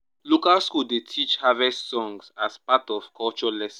local school dey teach harvest songs as part of culture lesson.